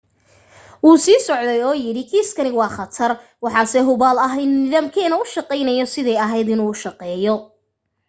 wuu sii socday oo yidhi kiiskani waa khatar. waxaase hubaal ah in nidaamkeenu u shaqayno siday ahayd inuu u shaqeeyo.